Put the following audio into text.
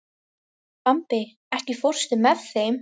Bambi, ekki fórstu með þeim?